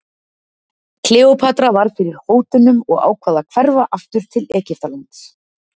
Kleópatra varð fyrir hótunum og ákvað að hverfa aftur til Egyptalands.